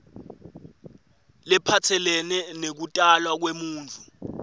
lephatselene nekutalwa kwemufi